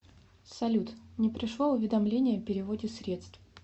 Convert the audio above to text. салют не пришло уведомление о переводе средств